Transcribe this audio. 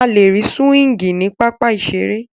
A lè rí súwíngì ní pápá ìseré